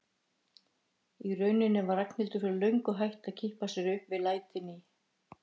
Í rauninni var Ragnhildur fyrir löngu hætt að kippa sér upp við lætin í